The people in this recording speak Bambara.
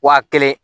Wa kelen